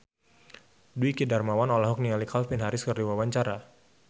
Dwiki Darmawan olohok ningali Calvin Harris keur diwawancara